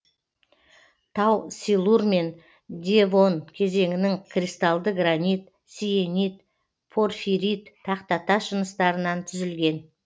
тау силур мен девон кезеңінің кристалды гранит сиенит порфирит тақтатас жыныстарынан түзілген